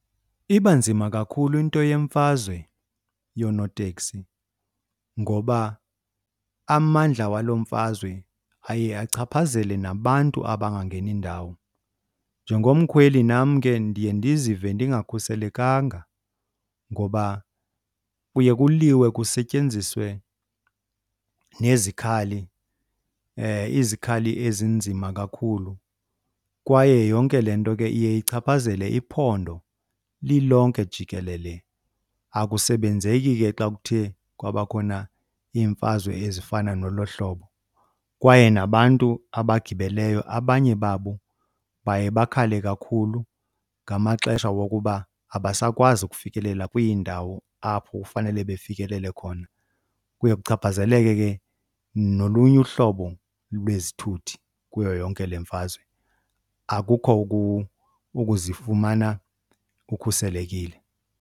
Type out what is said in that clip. Iba nzima kakhulu into yemfazwe yoonoteksi ngoba amandla waloo mfazwe aye achaphazele nabantu abangangeni ndawo. Njengomkhweli nam ke ndiye ndizive ndingakhuselekanga ngoba kuye kuliwe kusetyenziswe nezikhali, izikhali ezinzima kakhulu kwaye yonke le nto ke iye ichaphazele iphondo lilonke jikelele. Akusebenzeki ke xa kuthe kwabakhona iimfazwe ezifana nolo hlobo kwaye nabantu abagibeleyo abanye babo baye bakhale kakhulu ngamaxesha wokuba abasakwazi ukufikelela kwiindawo apho kufanele befikelele khona. Kuye kuchaphazeleke ke nolunye uhlobo lwezithuthi kuyo yonke le mfazwe, akukho ukuzifumana ukhuselekile.